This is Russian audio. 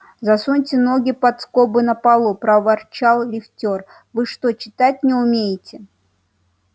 засуньте ноги под скобы на полу проворчал лифтёр вы что читать не умеете